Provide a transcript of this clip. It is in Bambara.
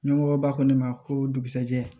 Ɲɛmɔgɔ b'a fɔ ne ma ko dugusajɛ